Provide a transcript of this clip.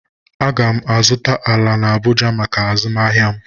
Aga m azụta ala na Abụja maka azụmahịa m